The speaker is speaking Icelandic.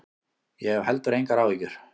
Ég hef heldur engar áhyggjur.